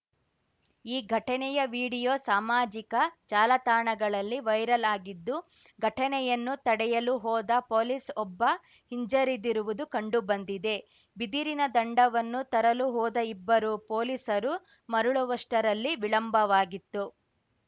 ಈ ಘಟನೆಯ ವಿಡಿಯೋ ಸಾಮಾಜಿಕ ಜಾಲತಾಣಗಳಲ್ಲಿ ವೈರಲ್‌ ಆಗಿದ್ದು ಘಟನೆಯನ್ನು ತಡೆಯಲು ಹೋದ ಪೊಲೀಸ್‌ ಒಬ್ಬ ಹಿಂಜರಿದಿರುವುದು ಕಂಡು ಬಂದಿದೆ ಬಿದಿರಿನ ದಂಡವನ್ನು ತರಲು ಹೋದ ಇಬ್ಬರು ಪೊಲೀಸರು ಮರಳುವಷ್ಟರಲ್ಲಿ ವಿಳಂಬವಾಗಿತ್ತು